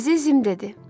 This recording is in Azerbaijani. Əzizim dedi.